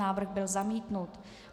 Návrh byl zamítnut.